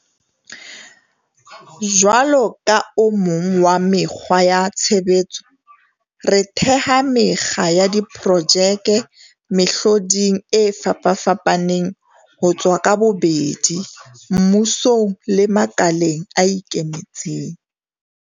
Jwalo ka o mong wa mekgwa ya tshebetso, re theha mekga ya diprojeke mehloding e fapafapaneng ho tswa ka bobedi, mmusong le makaleng a ikemetseng.